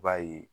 I b'a ye